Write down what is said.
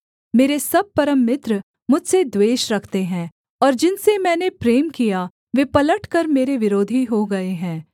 मेरे सब परम मित्र मुझसे द्वेष रखते हैं और जिनसे मैंने प्रेम किया वे पलटकर मेरे विरोधी हो गए हैं